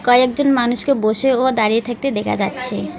কয়েকজন মানুষকে বসে ও দাঁড়িয়ে থাকতে দেখা যাচ্ছে।